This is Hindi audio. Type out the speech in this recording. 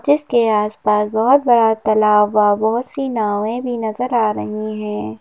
जिसके आसपास बहुत बड़ा तलाब ब बहुत सी नावें भी नजर आ रही हैं।